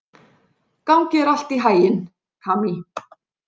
Gangi þér allt í haginn, Kamí.